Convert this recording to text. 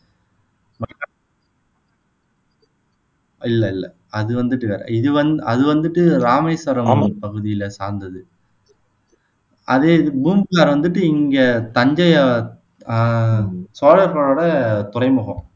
இல்ல இல்ல அது வந்துட்டு வேற இது வந் அது வந்துட்டு ராமேஸ்வரம் பகுதியில சார்ந்தது அதே இது பூம்புகார் வந்துட்டு இங்க தஞ்சையை ஆஹ் அஹ் சோழர்களோட துறைமுகம்